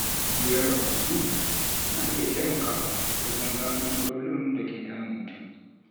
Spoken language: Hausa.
Hira da ƙwararru na iya taimakawa wajen gano matsalolin da ke damun mutum.